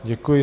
Děkuji.